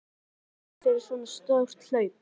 En hvernig líður manni rétt fyrir svo stórt hlaup?